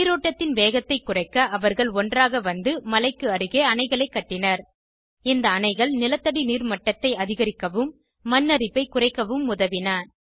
நீரோட்டத்தின் வேகத்தை குறைக்க அவர்கள் ஒன்றாக வந்து மலைக்கு அருகே அணைகளை கட்டினர் இந்த அணைகள் நிலத்தடி நீர் மட்டத்தை அதிகரிக்கவும் மண் அரிப்பை குறைக்கவும் உதவின